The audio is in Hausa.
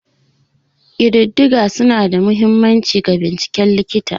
Ƙididdiga suna da mahimmanci ga binciken likita.